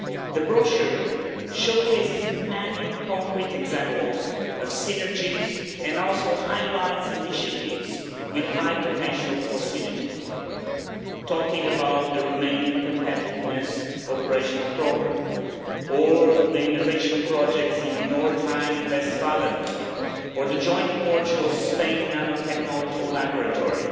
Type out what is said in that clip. The brochure showcases many concrete examples of synergies and also highlights initiatives with high potential for synergies, talking about the Romanian competitiveness operational programme or the innovation projects in North Rhine Westphalia, or the joint Portugal Spain nanotechnology laboratory,